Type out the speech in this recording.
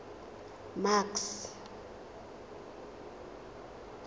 max